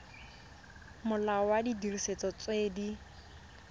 molao wa didiriswa tse di